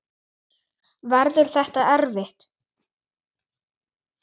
Verður þetta erfitt?